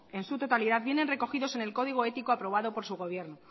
en su totalidad vienen recogidos en el código ético aprobado por su gobierno